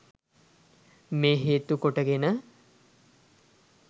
මේ හේතු කොට ගෙන